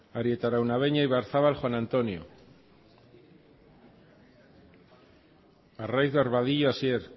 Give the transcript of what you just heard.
arieta araunabeña ibarzabal juan antonio arraiz barbadillo hasier